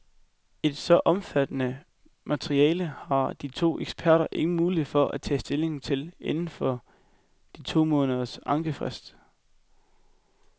Et så omfattende materiale har de to eksperter ingen mulighed for at tage stilling til inden for de to måneders ankefrist.